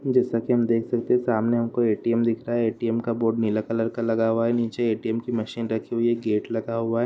जैसा कि हम देख सकते हैं सामने हमको ए_टी_एम दिख रहा है| एटीएम का बोर्ड नीला कलर का लगा हुआ है| आला एटीएम की मशीन रखी हुई है| गेट लगा हुआ है।